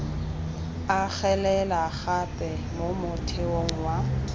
agelela gape mo motheong wa